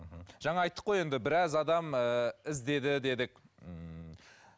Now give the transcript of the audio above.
мхм жаңа айттық қой енді біраз адам ыыы іздеді дедік ммм